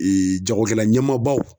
jagokɛla ɲɛmaabaw